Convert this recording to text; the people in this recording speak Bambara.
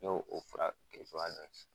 N y'o fara